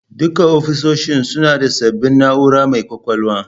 Duka ofisoshin suna da sabbin na'ura mai kwakwalwa